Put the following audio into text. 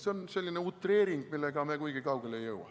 See on selline utreering, millega me kuigi kaugele ei jõua.